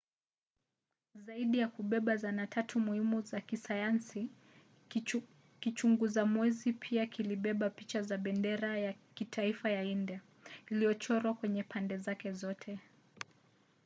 zaidi ya kubeba zana tatu muhimu za kisayansi kichunguza mwezi pia kilibeba picha za bendera ya kitaifa ya india iliyochorwa kwenye pande zake zote